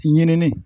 Ɲinini